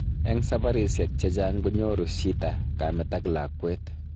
Eng sabarisyek chechaang konyoru shita kameet ak lakwet